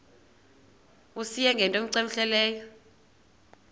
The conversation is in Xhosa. uyise ngento cmehleleyo